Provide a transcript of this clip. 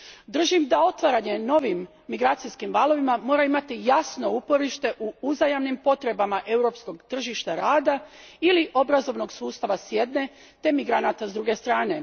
Držim da otvaranje novim migracijskim valovima mora imati jasno uporište u uzajamnim potrebama europskog tržišta rada ili obrazovnog sustava s jedne te migranata s druge strane.